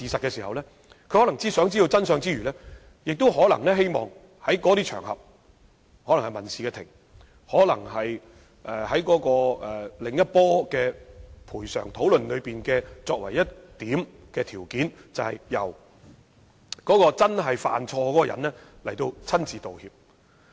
在希望知道真相之餘，他們可能也希望在那些場合例如民事法庭，在另一次賠償討論中提出條件，要求由真正犯錯的人親自道歉。